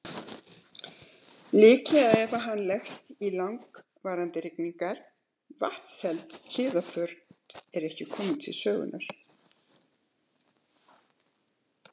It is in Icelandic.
Líka ef hann leggst í langvarandi rigningar, vatnsheld hlífðarföt eru ekki komin til sögunnar.